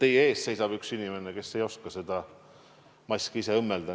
Teie ees seisab üks inimene, kes ei oska ise seda maski õmmelda.